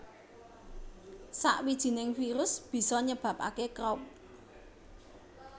Sawijining virus bisa nyebabake Croup